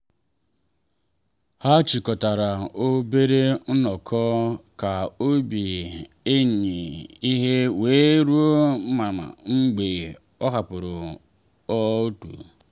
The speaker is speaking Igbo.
ha chịkọtara obere nnọkọ ka obi enyi ha we ruo mma mgbe ọ hapụrụ ọrụ.